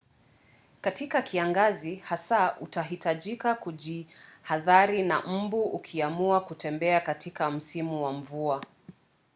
katika kiangazi hasa utahitaji kujihadhari na mbu ukiamua kutembea katika msitu wa mvua